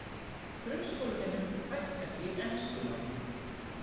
Grunnskólanemum fækkar í enskunámi